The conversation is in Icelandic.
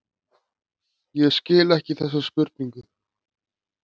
Samkvæmt hluthyggju um vísindi nálgast vísindi algildan sannleika.